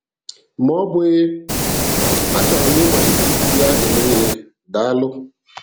Ma ọ bụghị, a chọrọ m ịmalite iji ya eme ihe! Daalụ